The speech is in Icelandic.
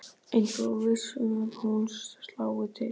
Eins og viss um að hún slái til.